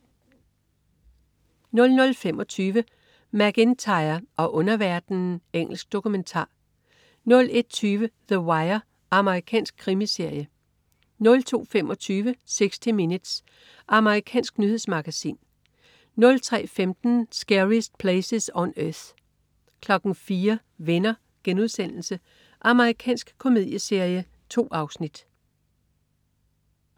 00.25 MacIntyre og underverdenen. Engelsk dokumentar 01.20 The Wire. Amerikansk krimiserie 02.25 60 Minutes. Amerikansk nyhedsmagasin 03.15 Scariest Places on Earth 04.00 Venner.* Amerikansk komedieserie. 2 afsnit